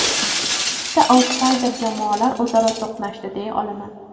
Ikkita autsayder jamoalar o‘zaro to‘qnashdi deya olaman.